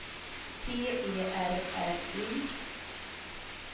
T E R R Y